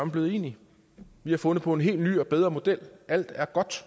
blevet enige vi har fundet på en helt ny og bedre model og alt er